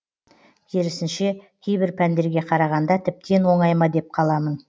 керісінше кейбір пәндерге қарағанда тіптен оңай ма деп қаламын